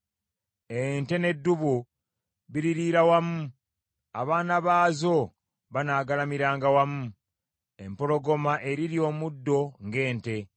Ente n’eddubu biririira wamu, abaana baazo banaagalamiranga wamu. Empologoma erirya omuddo ng’ente.